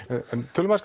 tölum